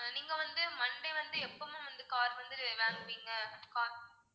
ஆஹ் நீங்க வந்து monday வந்து எப்போ ma'am வந்து car வந்து வாங்குவீங்க car